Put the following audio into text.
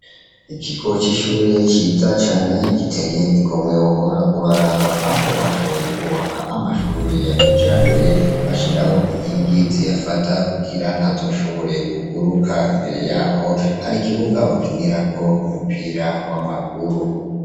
Ikigo c'ishure ciza cane giteye igomwe, wohora uraraba. Aho bashoboye kwubaka amashure ya kijambere, bashiraho inkingi ziyafata kugira ntashobore kuguruka. Imbere yaho, hari ikibuga bakinirako umupira w'amaguru.